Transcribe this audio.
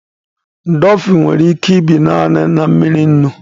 Dolfin nwere ike ibi naanị na mmiri nnu